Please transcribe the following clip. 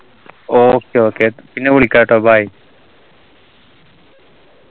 okay okay പിന്നെ വിളിക്കാട്ടോ bye